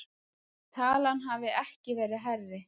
Talan hafi ekki verið hærri